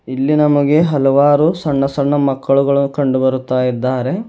ಇಲ್ಲಿ ನಮಗೆ ಹಲವಾರು ಸಣ್ಣ ಸಣ್ಣ ಮಕ್ಕಳು ಕಂಡುಬರುತ್ತಿದ್ದಾರೆ.